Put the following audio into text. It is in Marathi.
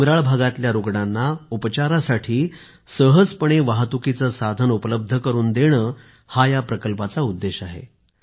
डोंगराळ भागातल्या रुग्णांना उपचारासाठी सहजपणे वाहतुकीचे साधन उपलब्ध करून देणे हा या प्रकल्पाचा उद्देश आहे